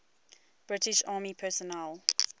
british army personnel